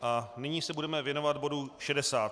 A nyní se budeme věnovat bodu